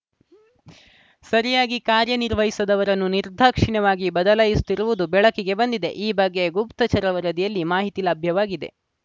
ಸರಿಯಾಗಿ ಕಾರ್ಯ ನಿರ್ವಹಿಸದವರನ್ನು ನಿರ್ದಾಕ್ಷಿಣ್ಯವಾಗಿ ಬದಲಾಯಿಸುತ್ತಿರುವುದು ಬೆಳಕಿಗೆ ಬಂದಿದೆ ಈ ಬಗ್ಗೆ ಗುಪ್ತಚರ ವರದಿಯಲ್ಲಿ ಮಾಹಿತಿ ಲಭ್ಯವಾಗಿದೆ